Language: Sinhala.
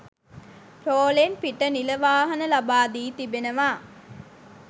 රෝලෙන් පිට නිල වාහන ලබා දී තිබෙනවා.